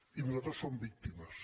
i nosaltres som víctimes